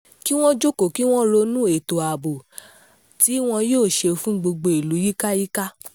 kí wọ́n jókòó kí wọ́n sì ronú ètò ààbò tí wọn yóò ṣe fún gbogbo ìlú yíkáyíká